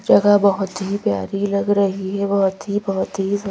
जगह बहुत ही प्यारी लग रही है बहुत ही बहुत ही है।